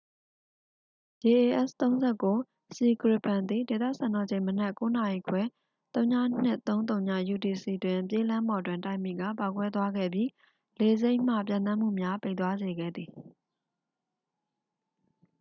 jas ၃၉c gripen သည် ဒေသစံတော်ချိန် မနက် ၉:၃၀ နာရီ ၀၂၃၀ utc တွင် ပြေးလမ်းပေါ်တွင် တိုက်မိကာ ပေါက်ကွဲသွားခဲ့ပြီး လေဆိပ်မှ ပျံသန်းမှုများ ပိတ်သွားစေခဲ့သည်။